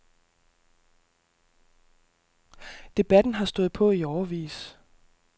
Debatten har stået på i årevis.